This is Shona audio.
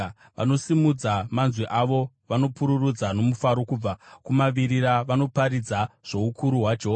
Vanosimudza manzwi avo, vanopururudza nomufaro; kubva kumavirira vanoparidza zvoukuru hwaJehovha.